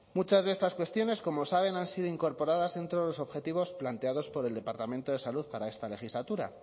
muchas de estas cuestiones como saben han sido incorporadas dentro de los objetivos planteados por el departamento de salud para esta legislatura